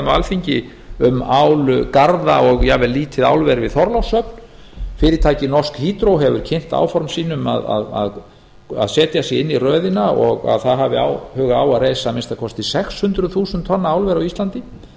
alþingi um álgarða og jafn vel lítið álver við þorlákshöfn fyrirtækið norsk hydro hefur kynnt áform sín um að setja sig inn í röðina og að það hafi áhuga á að reisa að minnsta kosti sex hundruð þúsund tonna álver á íslandi